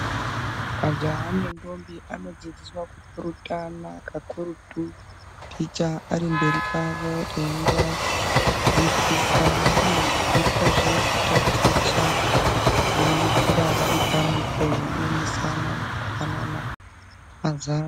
Majaha nendombi anodzidziswa kupurutana kakurutu, ticha ari mberi kwavo eivadzidzisa. Vanodzidziswazve kutaticha veiitira vari pamwepo, veionesana nekupanana mazano.